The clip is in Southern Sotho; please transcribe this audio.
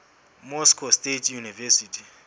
moscow state university